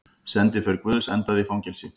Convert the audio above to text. Sendiför guðs endaði í fangelsi